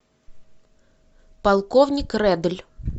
полковник редль